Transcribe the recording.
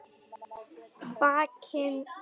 Vakinn og sofinn.